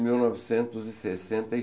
mil novecentos e sessenta e